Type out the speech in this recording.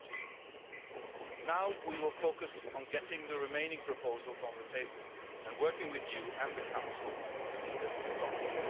in 2014. Now we will focus on getting the remaining proposals on the table and working with you and the Council to see them